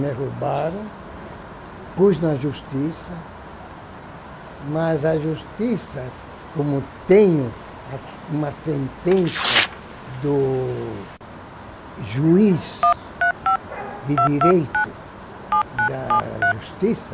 Me roubaram, pus na justiça, mas a justiça, como tenho a se uma sentença do juiz de direito da justiça,